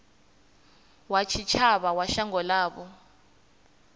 wa tshitshavha wa shango ḽavho